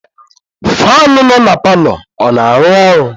Faanụ nọ na palọ a na-arụ ọrụ?